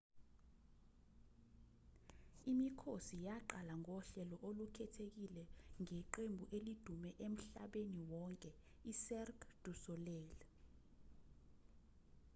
imikhosi yaqala ngohlelo olukhethekile ngeqembu elidume emhlabeni wonke icirque du soleil